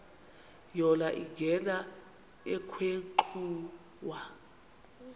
yona ingena ekhwenxua